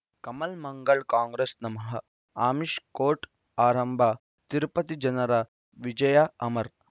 ಕಮಲ್ ಮಂಗಳ್ ಕಾಂಗ್ರೆಸ್ ನಮಃ ಅಮಿಷ್ ಕೋರ್ಟ್ ಆರಂಭ ತಿರುಪತಿ ಜನರ ವಿಜಯ ಅಮರ್